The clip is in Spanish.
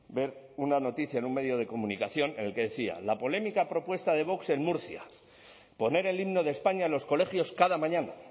ver una noticia en un medio de comunicación en el que decía la polémica propuesta de vox en murcia poner el himno de españa en los colegios cada mañana